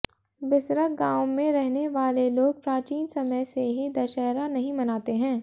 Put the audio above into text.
बिसरख गांव में रहने वाले लोग प्राचीन समय से ही दशहरा नहीं मनाते हैं